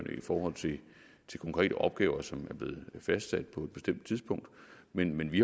i forhold til konkrete opgaver som er blevet fastsat på et bestemt tidspunkt men vi